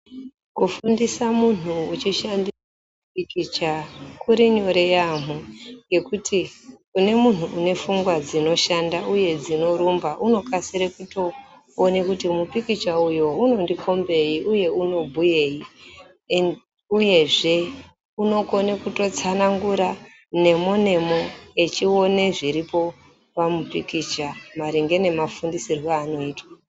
Kufundisa muntu wechishandisa mipikicha kuti nyore yaambo ngekuti kunemuntu une pfungwa dzinoshanda uye dzinorumba unokasire kutoona kuti mupikicha uyu unondikombei uye unobhuyeyi uyezve unokone kutotsanangura nemo nemo echiwona zviripo pamupikicha maringe nemufundisirwo yaanoitwa.